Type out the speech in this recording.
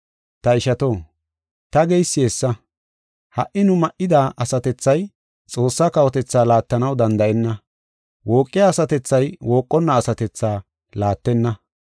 Ta ishato, ta geysi hessa; ha77i nu ma7ida asatethay Xoossaa kawotethaa laattanaw danda7enna. Wooqiya asatethay wooqonna asatethaa laattenna.